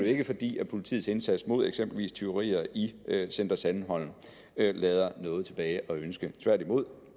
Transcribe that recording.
ikke fordi politiets indsats mod eksempelvis tyverier i center sandholm lader noget tilbage at ønske tværtimod